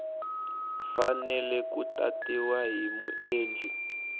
fanele ku tatiwa hi muendli